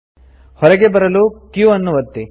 ಹೊರಗೆ ಬರಲು q ಅನ್ನು ಒತ್ತಿ